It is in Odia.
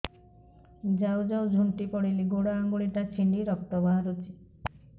ଯାଉ ଯାଉ ଝୁଣ୍ଟି ପଡ଼ିଲି ଗୋଡ଼ ଆଂଗୁଳିଟା ଛିଣ୍ଡି ରକ୍ତ ବାହାରୁଚି